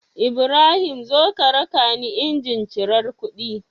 Ibrahim zo ka rakani injin cirar kuɗi